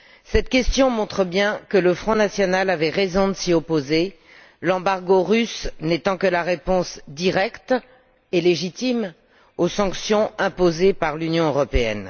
Cette question montre bien que le Front national avait raison de s'y opposer, l'embargo russe n'étant que la réponse directe et légitime aux sanctions imposées par l'Union européenne.